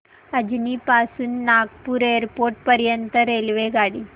अजनी पासून नागपूर एअरपोर्ट पर्यंत रेल्वेगाडी